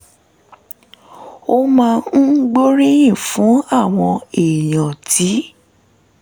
ó máa ń gbóríyìn fún àwọn èèyàn tí